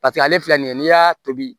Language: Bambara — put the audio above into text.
Paseke ale filɛ nin ye n'i y'a tobi